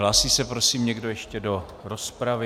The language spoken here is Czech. Hlásí se prosím někdo ještě do rozpravy?